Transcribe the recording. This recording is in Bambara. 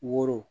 Woro